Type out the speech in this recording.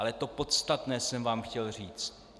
Ale to podstatné jsem vám chtěl říct.